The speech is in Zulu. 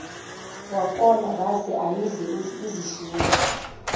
wakolabase ayidle izishiyele